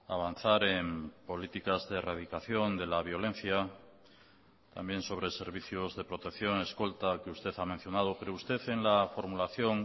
avanzar en políticas de erradicación de la violencia también sobre servicios de protección escolta que usted ha mencionado pero usted en la formulación